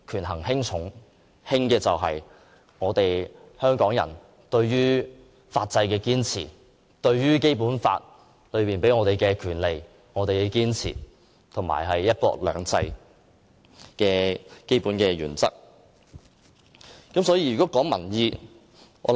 輕者，想必是香港人對法制的堅持、對《基本法》賦予我們的權利的堅持和"一國兩制"的基本原則了。